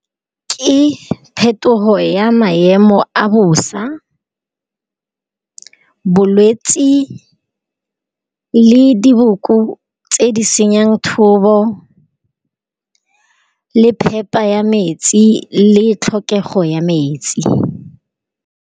Ke phetogo ya maemo a bosa, bolwetsi le diboko tse di senyang thobo, le phepa ya metsi le tlhokego ya metsi.